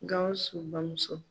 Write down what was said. Gawsu bamuso